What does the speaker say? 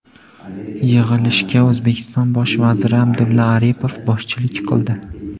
Yig‘ilishga O‘zbekiston bosh vaziri Abdulla Aripov boshchilik qildi.